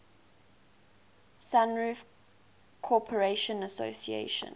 sunroof corporation asc